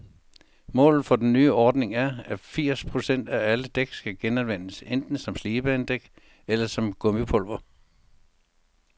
Målet for den nye ordning er, at firs procent af alle dæk skal genanvendes, enten som slidbanedæk eller som gummipulver.